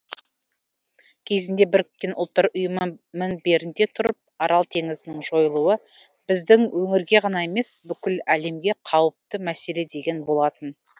кезінде біріккен ұлттар ұйымы мінберінде тұрып арал теңізінің жойылуы біздің өңірге ғана емес бүкіл әлемге қауіпті мәселе деген болатын